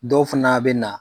Dɔw fana a bɛ na.